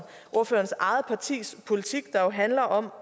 ordførerens eget partis politik der jo handler om